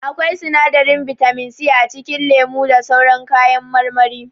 Akwai sinadarin bitamin c a cikin lemu da sauran kayan marmari.